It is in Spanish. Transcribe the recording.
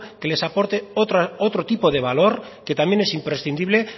que les aporte otro tipo de valor que también es imprescindible